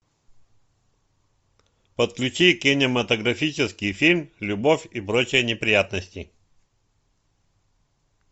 подключи кинематографический фильм любовь и прочие неприятности